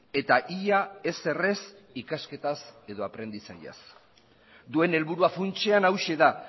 eta ia ezer ez ikasketaz edo aprendizaiaz duen helburua funtsean hauxe da